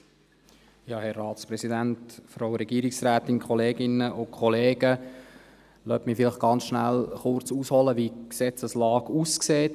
Lassen Sie mich vielleicht ganz kurz ausholen, wie die Gesetzeslage aussieht.